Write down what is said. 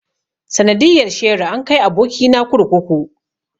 Sanadiyar sheri an kai aboki na kurkuku.